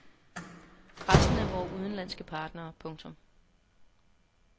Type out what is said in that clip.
Resten er vore udenlandske partnere. punktum